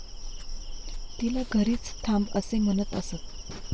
तिला घरीच थांब असे म्हणत असत.